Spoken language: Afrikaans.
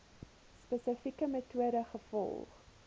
spesifieke metode gevolg